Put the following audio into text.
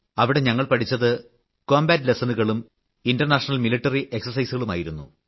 അവിടെ ഞങ്ങൾ പഠിച്ചത് ആയോധന മുറകളും ഇന്റർ നാഷണൽ മിലിട്ടറി ഏക്സർസൈസുകളുമായിരുന്നു